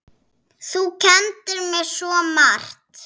Þú kenndir mér svo margt.